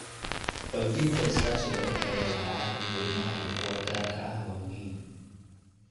Xoojinta iskaashiga u dhexeeya waaxaha dadweynaha iyo kuwa gaarka ah waa muhiim.